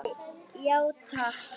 Já takk.